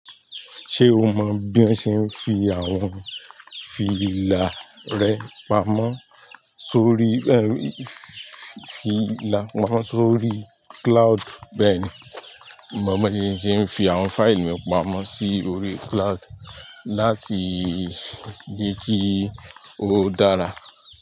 Ṣé o mọ bí a ṣe ń fi àwọn fílà rẹ pamọ́ sórí, ẹ ri, fílà pamọ́ sórí cloud? Bẹ́ẹ̀ni, mo mọ ohun tí ń ṣe ń fi àwọn fáìlì mi pamọ́ sórí cloud láti di kí ó dára.